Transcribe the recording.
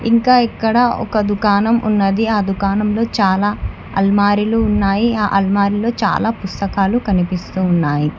ఇంకా ఇక్కడ ఒక దుకాణం ఉన్నది ఆ దుకాణంలో చాలా అల్మారీలు ఉన్నాయి ఆ అల్మారీలో చాలా పుస్తకాలు కనిపిస్తూ ఉన్నాయి.